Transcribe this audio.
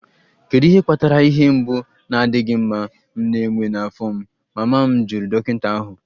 Kedu ihe kpatara ihe mgbu na-adịghị mma m na-enwe n'afọ m?, mama m jụrụ dọkịta ahụ.